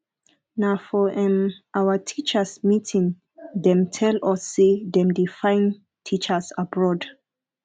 na for um our teachers meeting dem tell us sey dem dey find teachers abroad